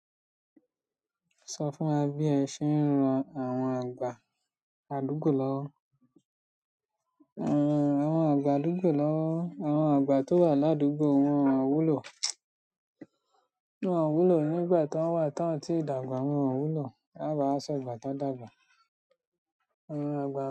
Sọ fún wa bí ẹ ṣe ń ran àwọn àgbà àdúgbò lọ́wọ́, àwọn àgbà tó wà ládúgbò wọn ò wúlò, nígbà tọ́n wà tọ́n tíì dàgbà wọn ò wúlò. Ká bà wá ṣọ̀gbà tí wọ́n dàgbà. Àwọn àgbà.